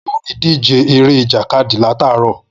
Mo tí ń wo ìdíje eré ìjàkadì látàárọ̀